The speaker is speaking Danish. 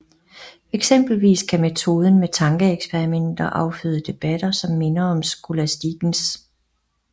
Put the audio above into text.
Eksempelvis kan metoden med tankeeksperimenter afføde debatter som minder om skolastikkens